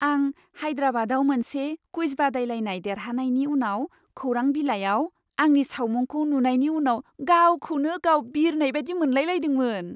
आं हायद्राबादाव मोनसे कुइज बादायलायनाय देरहानायनि उनाव खौरां बिलाइआव आंनि सावमुंखौ नुनायनि उनाव गावखौनो गाव बिरनाय बायदि मोनलाय लायदोंमोन।